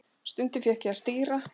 Stundum fékk ég að stýra.